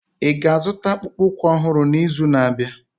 Ị ga-azụta akpụkpọ ụkwụ ọhụrụ n'izu na-abịa?